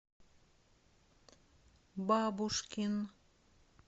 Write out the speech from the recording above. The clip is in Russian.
бабушкин